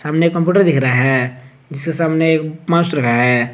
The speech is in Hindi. सामने कंप्यूटर दिख रहा है जिसे सबने लगाया है।